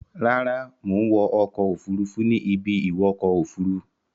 Rárá, mò ń wọ ọkọ̀-òfurufú ní ibi-ìwọkọ òfuruú.